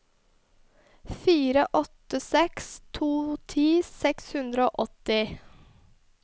fire åtte seks to ti seks hundre og åtti